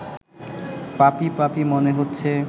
পাপী পাপী মনে হচ্ছে